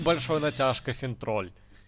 большой натяжкой финтроль